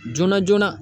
Joona joonana